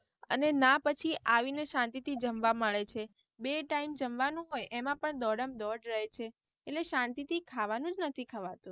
અને ના પછી આવીને શાંતિ થી જમવા મળે છે, બે time જમવાનું હોય એમાં પણ દોડમ દોડ રહે છે, એટલે શાંતિ થી ખાવાનું જ નથી ખવાતું.